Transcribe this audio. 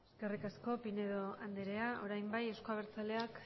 eskerrik asko pinedo andrea orain bai euzko abertzaleak